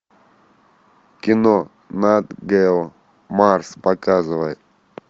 кино нат гео марс показывай